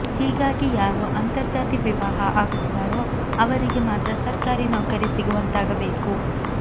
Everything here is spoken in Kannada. ಹೀಗಾಗಿ ಯಾರು ಅಂತರ್ಜಾತಿ ವಿವಾಹ ಆಗುತ್ತಾರೋ ಅವರಿಗೆ ಮಾತ್ರ ಸರ್ಕಾರಿ ನೌಕರಿ ಸಿಗುವಂತಾಗಬೇಕು